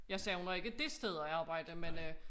Jeg savner ikke det sted at arbejde men øh